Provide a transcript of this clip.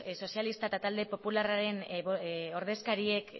sozialistak eta talde popularraren ordezkariek